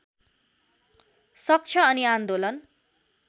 सक्छ अनि आन्दोलन